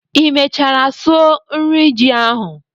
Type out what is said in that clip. ị mechara sụọ nri ji ahụ?